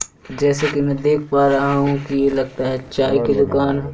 जैसे कि मैं देख पा रहा हु कि लगता है चाय की दुकान--